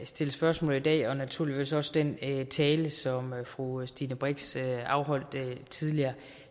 stille spørgsmål i dag og naturligvis også den tale som fru stine brix holdt tidligere